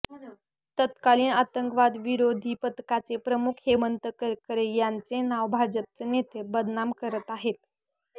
तत्कालीन आतंकवादविरोधी पथकाचे प्रमुख हेमंत करकरे यांचे नाव भाजपचे नेते बदनाम करत आहेत